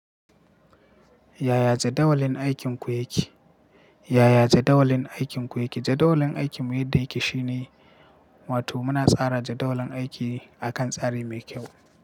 Yaya jadawalin aikinku yake? Yaya jadawalin aikinku yake? Jadawalin aikinmu yadda yake shine, wato muna tsara jadawalin aiki akan tsari mai kyau.